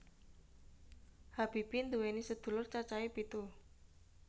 Habibie nduwèni sedulur cacahe pitu